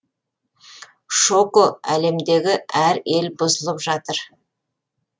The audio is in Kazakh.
шоко әлемдегі әр ел бұзылып жатыр